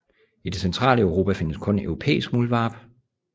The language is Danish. I det centrale Europa findes kun europæisk muldvarp